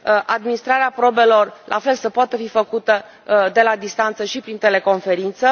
administrarea probelor, la fel, să poată fi făcută de la distanță și prin teleconferință